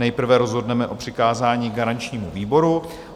Nejprve rozhodneme o přikázání garančnímu výboru.